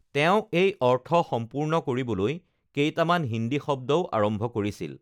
তেওঁ এই অৰ্থ সম্পূৰ্ণ কৰিবলৈ কেইটামান হিন্দী শব্দও আৰম্ভ কৰিছিল....